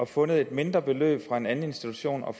fundet et mindre beløb fra en anden institution og